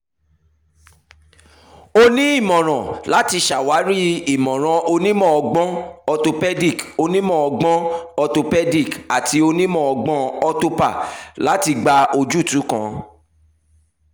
o ni imọran lati ṣawari imọran onimọ-ọgbọn orthopaedic onimọ-ọgbọn orthopaedic ati onimọ-ọgbọn orthopa lati gba ojutu kan